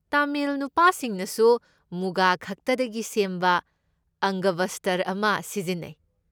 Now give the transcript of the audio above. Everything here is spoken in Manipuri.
ꯇꯥꯃꯤꯜ ꯅꯨꯄꯥꯁꯤꯡꯅꯁꯨ ꯃꯨꯒꯥ ꯈꯛꯇꯗꯒꯤ ꯁꯦꯝꯕ ꯑꯪꯒꯕꯁꯇ꯭ꯔ ꯑꯃ ꯁꯤꯖꯤꯟꯅꯩ꯫